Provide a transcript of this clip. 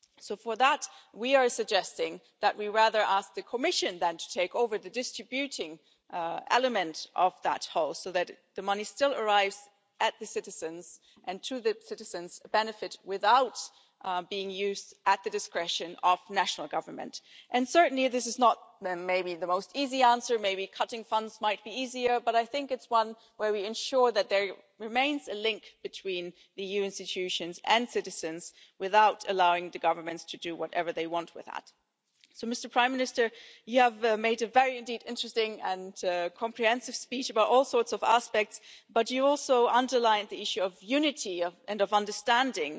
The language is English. So for that we are suggesting that we ask the Commission to take over the distributing element of that whole so that the money still arrives with the citizens and for the benefit of the citizens without being used at the discretion of national government. This is certainly not the easiest answer maybe cutting funds might be easier but it's one where we ensure that there remains a link between the EU institutions and citizens without allowing the governments to do whatever they want with that. Mr Prime Minister, you made a very interesting and comprehensive speech about all sorts of aspects, but you also underlined the issue of unity and understanding.